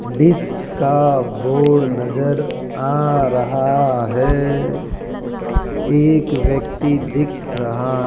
जिसका बोर्ड नजर आ रहा है एक व्यक्ति दिख रहा --